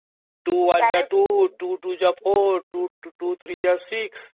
two one ଯା two two two ଯା or two three ଯା six